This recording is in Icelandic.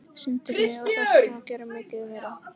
Sindri: Og þarftu að gera mikið meira?